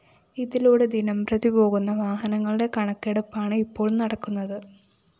ഇതിലൂടെ ദിനംപ്രതി പോകുന്ന വാഹനങ്ങളുടെ കണക്കെടുപ്പാണ് ഇപ്പോള്‍ നടക്കുന്നത്